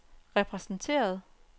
repræsenteret